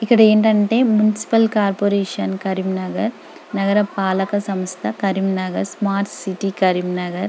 ఇక్కడ ఏంటంటే municipal corporation Karimnagar నగర పాలక సంస్థ కరీంనగర్ స్మార్ట్ సిటీ కరీంనగర్.